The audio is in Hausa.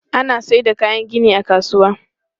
Ana sayar da kayan gini a kasuwa.